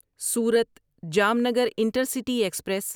صورت Jamnagar intercity express